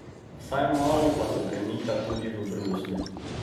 Vsaj malo pa se premika tudi v Bruslju.